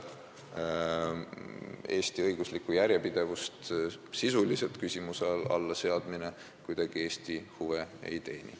Eesti õigusliku järjepidevuse sisuliselt küsimuse alla seadmine kahtlematult kuidagi Eesti huve ei teeni.